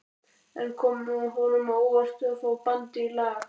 En kom honum á óvart að fá bandið í dag?